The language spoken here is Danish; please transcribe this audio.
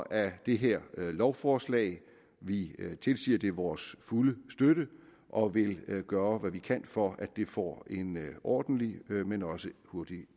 af det her lovforslag vi tilsiger det vores fulde støtte og vil gøre hvad vi kan for at det får en ordentlig men også hurtig